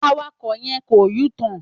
Àwákò yen kọ̀ U–tòn.